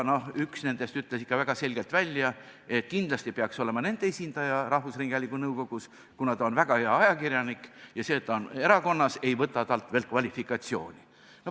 Üks nendest ütles ikka väga selgelt välja, et kindlasti peaks nende esindaja olema rahvusringhäälingu nõukogus, kuna ta on väga hea ajakirjanik, ja see, et ta on erakonnas, ei võta temalt veel kvalifikatsiooni.